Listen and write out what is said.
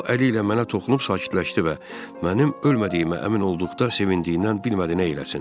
O əli ilə mənə toxunub sakitləşdi və mənim ölmədiyimə əmin olduqda sevindiyindən bilmədi nə eləsin.